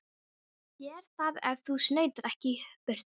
Ég geri það ef þú snautar ekki í burtu.